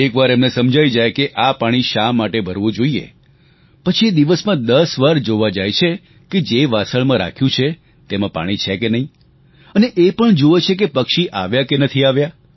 એકવાર એમને સમજાઈ જાય કે આ પાણી શા માટે ભરવું જોઈએ પછી એ દિવસમાં 10 વાર જોવા જાય છે કે જે વાસણ રાખ્યું છે તેમાં પાણી છે કે નહીં અને એ પણ જૂએ છે કે પક્ષી આવ્યાં કે નથી આવ્યાં